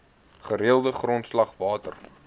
gereelde grondslag water